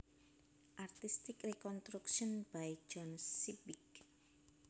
Artistic reconstruction by John Sibbick